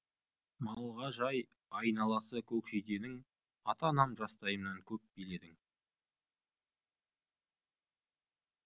малға жай айналасы көкжиденің ата анам жастайымнан көп биледің